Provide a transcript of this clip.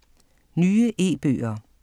Nye e-bøger